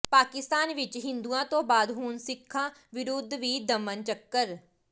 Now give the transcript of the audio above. ਪਾਕਿਸਤਾਨ ਵਿੱਚ ਹਿੰਦੂਆਂ ਤੋਂ ਬਾਅਦ ਹੁਣ ਸਿੱਖਾਂ ਵਿਰੁਧ ਵੀ ਦਮਨ ਚੱਕਰ